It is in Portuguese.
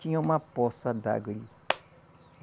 Tinha uma poça d'água ali.